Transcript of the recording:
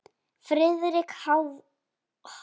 Friðrik hváði.